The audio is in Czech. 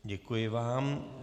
Děkuji vám.